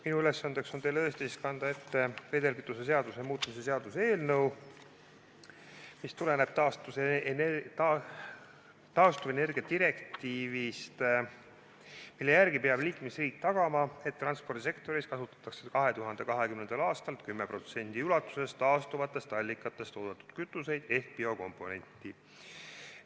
Minu ülesanne on kanda teile ette vedelkütuse seaduse muutmise seaduse eelnõu, mis tuleneb taastuvenergia direktiivist, mille järgi peab liikmesriik tagama, et transpordisektoris kasutatakse 2020. aastal 10% ulatuses taastuvatest allikatest toodetud kütuseid ehk biokomponenti.